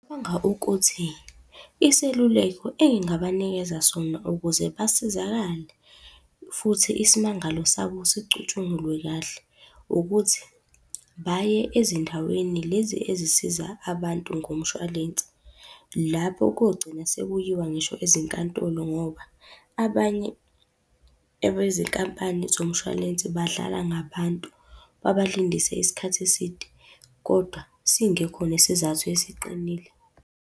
ukuthi, iseluleko engingabanikeza sona ukuze basizakale, futhi isimangalo sabo sicutshungulwe kahle, ukuthi baye ezindaweni lezi ezisiza abantu ngomshwalense. Lapho kogcina sekuyiwa ngisho ezinkantolo ngoba, abanye abezinkampani zomshwalense badlala ngabantu, babalindise isikhathi eside kodwa singekho nesizathu esiqinile.